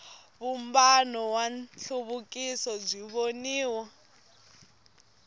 vumbano wa nhluvukiso byi voniwa